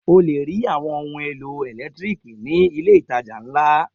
O le rí àwọn ohun-èlò ẹ̀lẹ́tíríkì ní ilé-ìtajà ńlá.